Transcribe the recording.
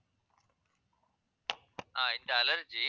ஆஹ் இந்த allergy